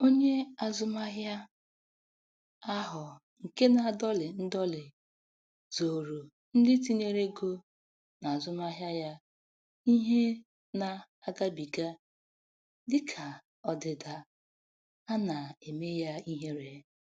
Onye azụmahịa ahụ nke na-adọlị ndọlị zooro ndị tinyere ego n'azụmahịa ya ihe na-agabiga, dịka ọdịda a na-eme ya ihere.